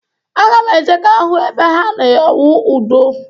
Aga m eje ka m hụ ebe ha na-awụ ụdọ.